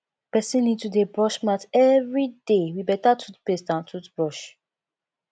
person need to dey brush mouth everyday with better toothpaste and toothbrush